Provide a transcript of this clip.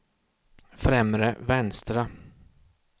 främre vänstra